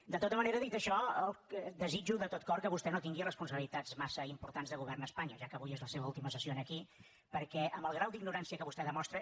de tota manera dit això desitjo de tot cor que vostè no tingui responsabilitats massa importants de govern a espanya ja que avui és la seva última sessió aquí perquè amb el grau d’ignorància que vostè demostra